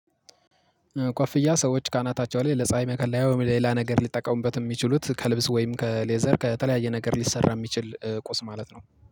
ኮፍያ ሰዎች ካናታቸው ላይ ለፀሀይ መከላያው ለሌላ ነገር ሊጠቀሙበት የሚችሉት ከልብስ ወይም ከሌዘር ከተለያየ ነገር ሊሰራ የሚችል ቁስ ማለት ነው